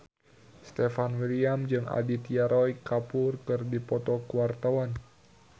Stefan William jeung Aditya Roy Kapoor keur dipoto ku wartawan